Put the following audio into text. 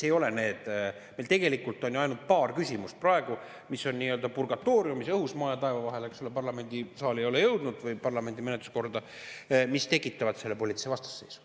Meil tegelikult on ju praegu ainult paar küsimust, mis on nii-öelda purgatooriumis, õhus, maa ja taeva vahel, eks ole, mis ei ole jõudnud parlamendisaali või parlamendi menetluskorda ja mis tekitavad selle poliitilise vastasseisu.